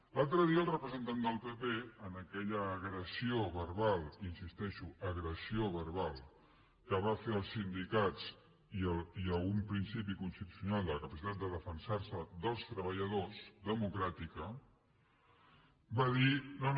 l’altre dia el representant del pp en aquella agressió verbal hi insisteixo agressió verbal que va fer als sindicats i a un principi constitucional de la capacitat de defensar se dels treballadors democràtica va dir no no